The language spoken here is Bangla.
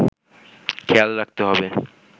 খেয়াল রাখতে হবে